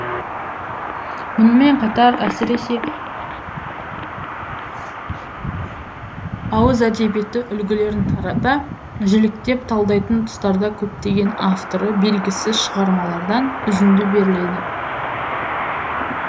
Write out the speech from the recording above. мұнымен қатар әсіресе ауыз әдебиеті үлгілерін тарата жіліктеп талдайтын тұстарда көптеген авторы белгісіз шығармалардан үзінді беріледі